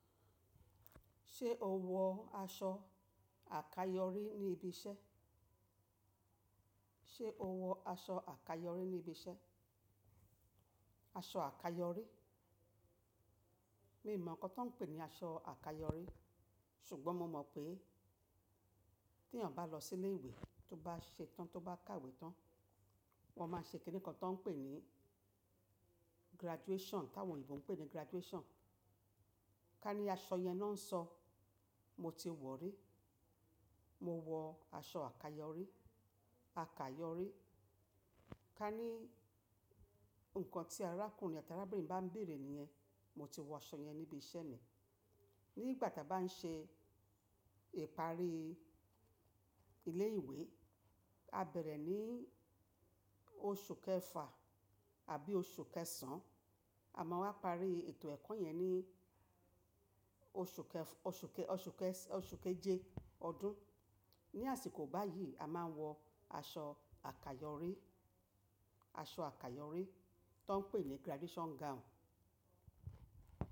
Ṣé o wọ aṣọ àkayọ̀rí ní ibi iṣẹ́? O wọ aṣọ àkayọ̀rí ní ibi iṣẹ́? Aṣọ àkayọ̀rí? Mi mọ̀ ǹkan tan ń pè ní aṣọ àkayọ̀rí, ṣùgbọ́n mo mọ̀ pé tí ènìyàn bá lọ sí ilé ìwé tó bá ṣe tán tó bá kàwé tán, wọ́n máa ṣe kìnni kan tó ń pè ní graduation, táwọn Yorùbá ń pè ní graduation. Ká ní aṣọ yẹn náà ń sọ, mo ti wọ̀rí, mo wọ aṣọ àkayọ̀rí, àkayọ̀rí. Ká ní ǹkan tí arákùnrin àti arábìnrin bá ń bèrè níyẹn, mo ti wọ aṣọ yẹn níbi iṣẹ́ mi. Nígbà tí a bá ń ṣe ìparí ilé ìwé, a bẹ̀rẹ̀ ní oṣù kẹfà àbí oṣù kẹsàn-, à máa wa parí ètò ẹ̀kọ́ yẹn ní oṣù kẹfa- oṣù kẹ- oṣù kẹsan oṣù keje ọdún. Ni àsìkò báyì a máa ń wọ aṣọ àkayọ̀rí, aṣọ àkayọ̀rí tan ń pè ní graduation gown.